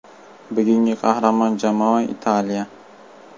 Bugungi qahramon jamoa Italiya.